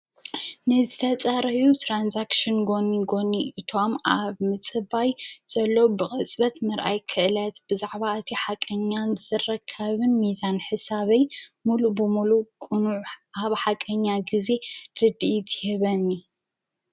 ነዝተፃርዩ ተራንዛክሺን ጎኒ ጎኒ እቶም ኣብ ምጽባይ ዘሎ ብቕፅበት መርኣይ ክእለት ብዛኅባ እቲ ሓቀኛን ዘዘረከብን ሚዛን ሕሳበይ ሙሉ ብምሉ ጕኑዕ ኣሃብ ሓቀኛ ጊዜ ድድት ህበኒ